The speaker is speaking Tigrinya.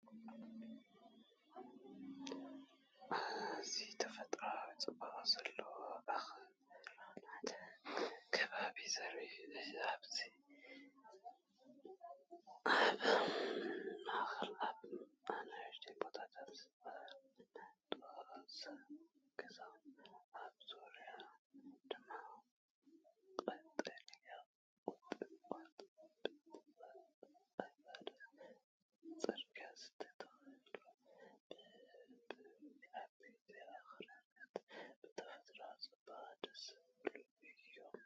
እዚ ተፈጥሮኣዊ ጽባቐ ዘለዎ ኣኽራናዊ ከባቢ ዘርኢ እዩ። ኣብ ትሕቲ ሰማያዊ ሰማይ ዝተዘርግሐ ከባቢ ኣኽራን፡ ኣብ ማእከል ኣብ ንኣሽቱ ቦታታት ዝተቐመጡ ገዛውቲ፡ኣብ ዙርያኡ ድማ ቀጠልያ ቁጥቋጥ ብተቐባሊ ቅርጺ ዝተተኽሉ፤ ብድሕሪት፡ዓበይቲ ኣኽራናት ብተፈጥሮኣዊ ጽባቐ ደስ ዝብሉ እዮም።